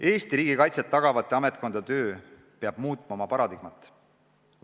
Eesti riigikaitset tagavate ametkondade töö peab muutma oma paradigmat.